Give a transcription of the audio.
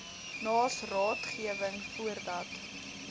naas raadgewing voordat